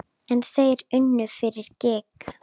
En þeir unnu fyrir gýg.